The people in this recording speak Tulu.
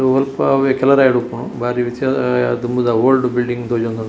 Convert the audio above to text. ಒಲ್ಪವೆ ಕೆಲರಾಯ್ ಡುಪ್ಪುನು ಬಾರಿ ದುಂಬುದ ಓಲ್ಡ್‌ ಬಿಲ್ಡಿಂಗ್‌ ತೋಜೋಂದುಂಡು.